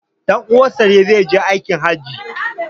Dan' uwansa ne zai je aikin hajji